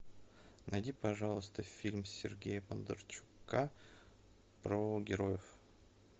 найди пожалуйста фильм сергея бондарчука про героев